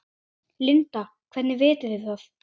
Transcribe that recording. Linda: Hvernig vitið þið það?